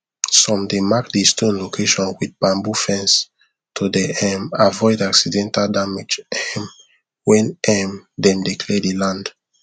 some dey mark the stone location with bamboo fence to dey um avoid accidental damage um when um them dey clear the land